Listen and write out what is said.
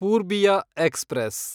Purbiya express